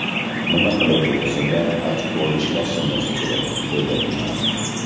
Nima qilib bo‘lsada ochko ishlashimiz kerak”, dedi Umar.